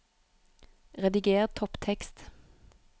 Rediger topptekst